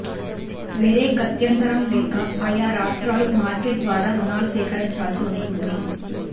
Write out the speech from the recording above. వేరే గత్యంతరం లేక ఆయా రాష్ట్రాలు మార్కెట్ ద్వారా రుణాలు సేకరించాల్సి వస్తోంది